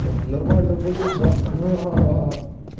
нормально будет да ха-ха